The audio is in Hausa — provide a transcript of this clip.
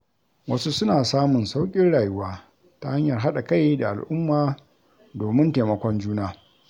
Wasu suna samun sauƙin rayuwa ta hanyar haɗa kai da al’umma domin taimakon juna.